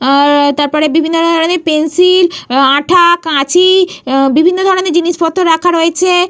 উঃ তারপরে বিভিন্ন ধরণের পেন্সিল আঁঠা কাঁচি বিভিন্ন ধরণের জিনিসপত্র রাখা রয়েছে।